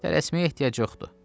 Tələsməyə ehtiyac yoxdur.